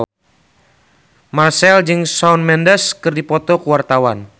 Marchell jeung Shawn Mendes keur dipoto ku wartawan